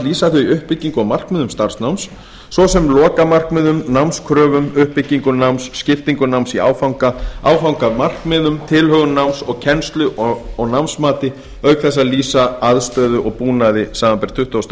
þau uppbyggingu og markmiðum starfsnáms svo sem lokamarkmiðum námskröfum uppbyggingu náms skiptingu náms í áfanga áfangamarkmiðum tilhögun náms og kennslu og námsmati auk þess að lýsa aðstöðu og búnaði samanber tuttugustu og